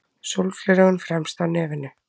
Sólgleraugun fremst á nefinu.